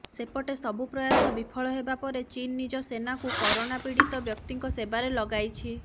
ସେପଟେ ସବୁ ପ୍ରୟାସ ବିଫଳ ହେବା ପରେ ଚୀନ ନିଜ ସେନାକୁ କୋରୋନା ପୀଡ଼ିତ ବ୍ୟକ୍ତିଙ୍କ ସେବାରେ ଲଗାଇଛି